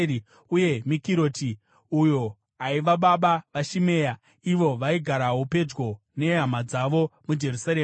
uye Mikiroti, uyo aiva baba vaShimea. Ivo vaigarawo pedyo nehama dzavo muJerusarema.